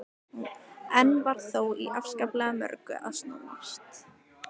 Enn var þó í afskaplega mörgu að snúast.